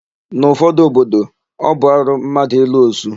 N'ụfọdụ obodo, ọ bụ arụ mmadụ ịlụ osu.